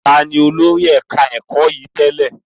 Taàní olórí ẹ̀ka ẹ̀kọ́ yìí tẹ́lẹ̀?